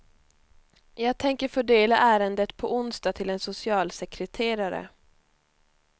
Jag tänker fördela ärendet på onsdag till en socialsekreterare.